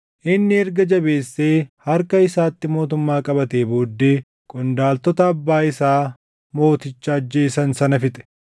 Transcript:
Inni erga jabeessee harka isaatti mootummaa qabatee booddee qondaaltota abbaa isaa mooticha ajjeesan sana fixe.